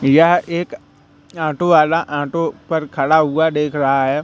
यह एक ऑटो वाला पर खड़ा हुआ देख रहा है।